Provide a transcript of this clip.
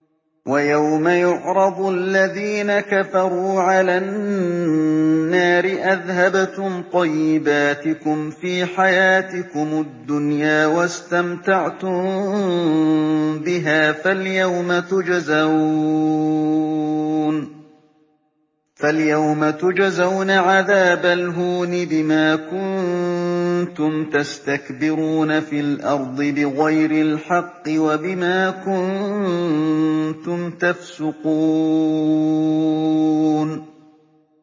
وَيَوْمَ يُعْرَضُ الَّذِينَ كَفَرُوا عَلَى النَّارِ أَذْهَبْتُمْ طَيِّبَاتِكُمْ فِي حَيَاتِكُمُ الدُّنْيَا وَاسْتَمْتَعْتُم بِهَا فَالْيَوْمَ تُجْزَوْنَ عَذَابَ الْهُونِ بِمَا كُنتُمْ تَسْتَكْبِرُونَ فِي الْأَرْضِ بِغَيْرِ الْحَقِّ وَبِمَا كُنتُمْ تَفْسُقُونَ